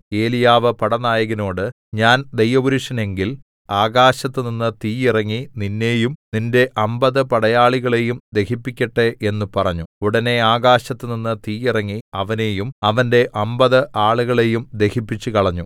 ഏലീയാവ് പടനായകനോട് ഞാൻ ദൈവപുരുഷനെങ്കിൽ ആകാശത്തുനിന്ന് തീ ഇറങ്ങി നിന്നെയും നിന്റെ അമ്പത് പടയാളികളേയും ദഹിപ്പിക്കട്ടെ എന്ന് പറഞ്ഞു ഉടനെ ആകാശത്തുനിന്ന് തീ ഇറങ്ങി അവനെയും അവന്റെ അമ്പത് ആളുകളെയും ദഹിപ്പിച്ചുകളഞ്ഞു